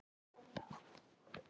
Tíu árum eldri en við.